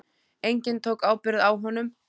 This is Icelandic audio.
Enginn tók ábyrgð á honum.